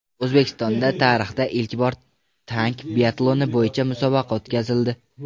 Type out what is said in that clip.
O‘zbekistonda tarixda ilk bor tank biatloni bo‘yicha musobaqa o‘tkazildi.